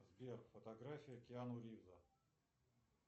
сбер фотография киану ривза